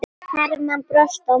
Hermann brosti á móti.